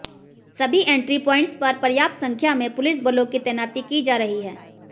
सभी entry points पर पर्याप्त संख्या में पुलिस बलों की तैनाती की जा रही है